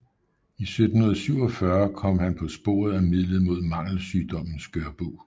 I 1747 kom han på sporet af midlet mod mangelsygdommen skørbug